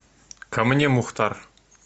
ко мне мухтар